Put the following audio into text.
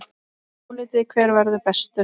Álitið: Hver verður bestur?